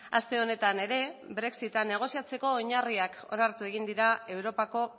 aste honetan ere brexita negoziatzeko oinarriak onartu egin dira europako